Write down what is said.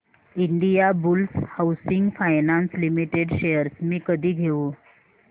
Indiabulls housing finance limited shares मी कधी घेऊ